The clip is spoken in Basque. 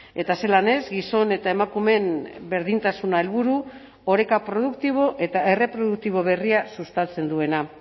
eta zelan ez gizon eta emakumeen berdintasuna helburu oreka produktibo eta erreproduktibo berria sustatzen duena